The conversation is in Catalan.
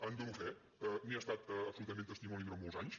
en dono fe n’he estat absolutament testimoni durant molts anys